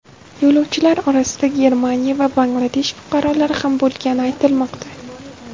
Yo‘lovchilar orasida Germaniya va Bangladesh fuqarolari ham bo‘lgani aytilmoqda.